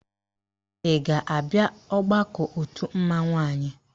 Ị ga-abịa ọgbakọ òtù mmanwụ anyị?